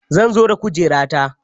Zan zo da kujera ta.